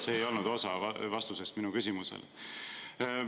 See ei olnud osa vastusest minu küsimusele.